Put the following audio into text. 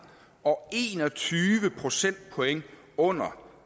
og en og tyve procentpoint under